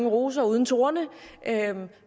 roser uden torne